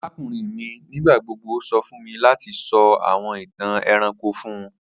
Arakunrin mi nigbagbogbo sọ fun mi lati sọ awọn itan ẹranko fun u.